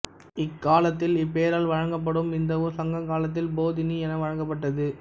இக்காலத்தில் இப்பெயரால் வழங்கப்படும் இந்த ஊர் சங்க காலத்தில் பொதினி என வழங்கப்பட்டது